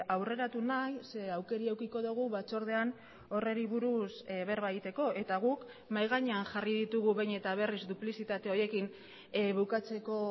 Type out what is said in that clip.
aurreratu nahi ze aukera edukiko dugu batzordean horri buruz berba egiteko eta guk mahai gainean jarri ditugu behin eta berriz duplizitate horiekin bukatzeko